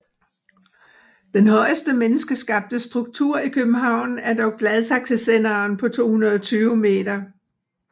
Den højeste menneskeskabte struktur i København er dog Gladsaxesenderen på 220 meter